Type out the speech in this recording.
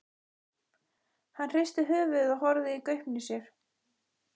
Hann hristi höfuðið og horfði í gaupnir sér.